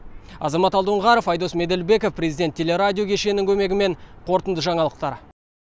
азамат алдоңғаров айдос меделбеков президент телерадио кешенінің көмегімен қорытынды жаңалықтар